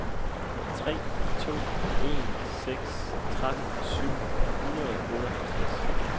tre to en seks tretten syv hundrede og otteoghalvtreds